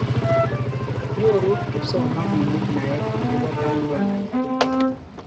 Nyoru kipsomaninik naet akopo kandoinatet.